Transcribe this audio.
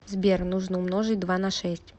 сбер нужно умножить два на шесть